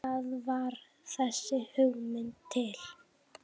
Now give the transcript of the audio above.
Þar varð þessi hugmynd til.